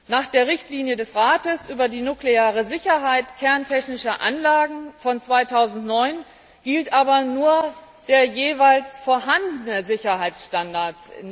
Nach der Richtlinie des Rates über die nukleare Sicherheit kerntechnischer Anlagen von 2009 gilt in den Mitgliedstaaten aber nur der jeweils vorhandene Sicherheitsstandard.